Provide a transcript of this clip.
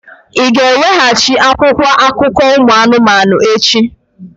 Ị ga-eweghachi akwụkwọ akụkọ ụmụ anụmanụ echi!